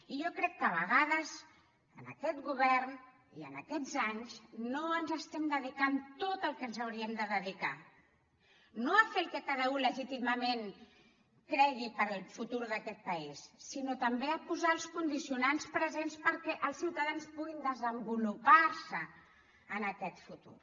i jo crec que a vegades en aquest govern i en aquests anys no ens hi estem dedicant tot el que ens hi hauríem de dedicar no a fer el que cada u legítimament cregui pel futur d’aquest país sinó també a posar els condicionants presents perquè els ciutadans puguin desenvolupar se en aquest futur